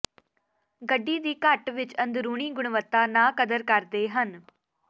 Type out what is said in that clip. ਗੱਡੀ ਦੀ ਘੱਟ ਵਿੱਚ ਅੰਦਰੂਨੀ ਗੁਣਵੱਤਾ ਨਾ ਕਦਰ ਕਰਦੇ ਹਨ